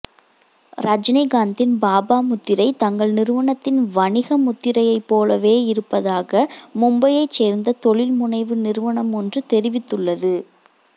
ரஜினிகாந்தின் பாபா முத்திரை தங்கள் நிறுவனத்தின் வணிக முத்திரையைப் போலவே இருப்பதாக மும்பையைச் சேர்ந்த தொழில்முனைவு நிறுவனம் ஒன்று தெரிவித்துள்ளது